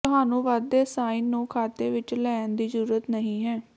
ਤੁਹਾਨੂੰ ਵੱਧਦੇ ਸਾਈਨ ਨੂੰ ਖਾਤੇ ਵਿਚ ਲੈਣ ਦੀ ਜ਼ਰੂਰਤ ਨਹੀਂ ਹੈ